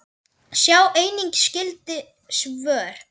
Sjá einnig skyld svör